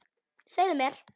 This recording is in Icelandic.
Segðu mér.